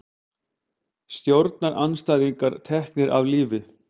Stjórnarandstæðingar teknir af lífi